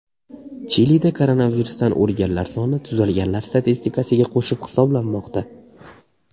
Chilida koronavirusdan o‘lganlar soni tuzalganlar statistikasiga qo‘shib hisoblanmoqda.